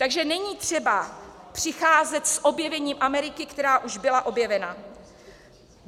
Takže není třeba přicházet s objevením Ameriky, která už byla objevena.